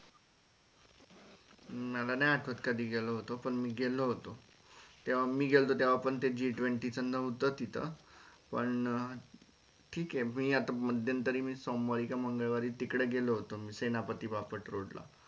मला नाही आठवत कधी गेलो होतो पण मी गेलो होतो तेव्हा मी गेला तेव्हा पण G twenty च नहोत तिथ पण ठीक हे मी आता मध्यंतरी मी सोमवारी का मंगळवारी तिकडे गेलो होतो सेनापती बापट road ला